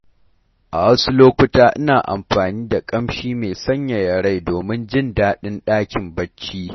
A wasu lokuta, ina amfani da ƙamshi mai sanyaya rai domin jin daɗin dakin barci.